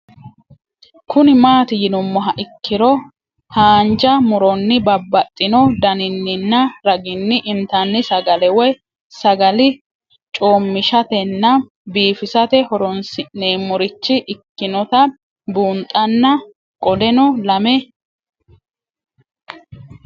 Kuni mati yinumoha ikiro hanja muroni babaxino daninina ragini intani sagale woyi sagali comishatenna bifisate horonsine'morich ikinota bunxana qoleno lame